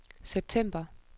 september